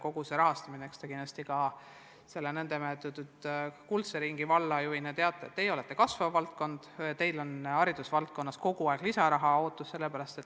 Kogu see rahastamine – te selle nn kuldse ringi valla juhina kindlasti teate, et teie olete kasvav vald ja teil on hariduses kogu aeg lisaraha vaja.